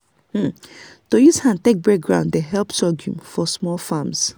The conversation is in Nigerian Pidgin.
to use hand take break ground dey help sorghum for small farms.